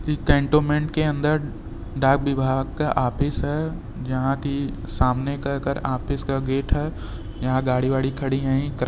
cantonment के अंदर डाक विभाग का ऑफिस है जहाँ कि सामने का ऑफिस का गेट है यहाँ गाड़ी वाड़ी खड़ी हैं --